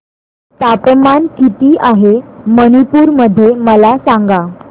तापमान किती आहे मणिपुर मध्ये मला सांगा